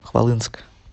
хвалынск